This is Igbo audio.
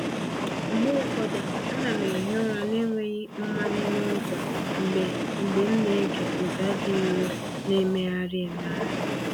Mgbe ụfọdụ, ana m ehi ụra n'enweghi mmanye n’ụzọ mgbe mgbe m na-ege ụda dị nro, na-emegharị emegharị.